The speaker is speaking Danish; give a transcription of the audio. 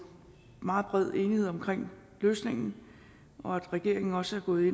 meget bred enighed omkring løsningen og at regeringen også er gået